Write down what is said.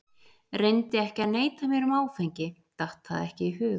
Reyndi ekki að neita mér um áfengi, datt það ekki í hug.